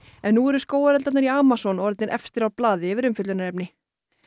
en nú eru skógareldarnir í Amazon orðnir efstir á blaði yfir umfjöllunarefni